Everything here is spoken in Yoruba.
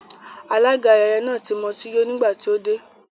Alága ayẹyẹ náà ti mutí yó nígbà tí ó dé